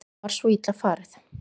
Það var svo illa farið